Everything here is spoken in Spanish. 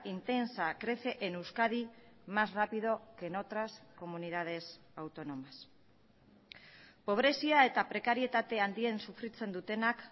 intensa crece en euskadi más rápido que en otras comunidades autónomas pobrezia eta prekarietate handien sufritzen dutenak